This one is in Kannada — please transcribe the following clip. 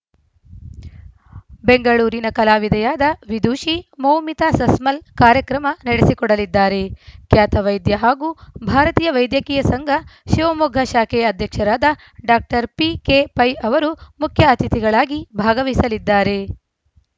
ಬೆಂಗಳೂರಿನ ಕಲಾವಿದೆಯಾದ ವಿದುಷಿ ಮೌಮಿತಾ ಸಸ್‌ಮಲ್‌ ಕಾರ್ಯಕ್ರಮ ನಡೆಸಿಕೊಡಲಿದ್ದಾರೆ ಖ್ಯಾತ ವೈದ್ಯ ಹಾಗೂ ಭಾರತೀಯ ವೈದ್ಯಕೀಯ ಸಂಘ ಶಿವಮೊಗ್ಗ ಶಾಖೆಯ ಅಧ್ಯಕ್ಷರಾದ ಡಾಕ್ಟರ್ ಪಿಕೆ ಪೈ ಅವರು ಮುಖ್ಯ ಅತಿಥಿಗಳಾಗಿ ಭಾಗವಹಿಸಲಿದ್ದಾರೆ